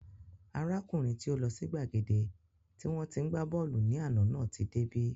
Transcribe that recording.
Arákùnrin tí ó lọ sí gbàgede tí wọ́n tí ń gbá bọ́ọ̀lù ní àná náà tí dé bí